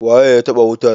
waye ya taba wutar?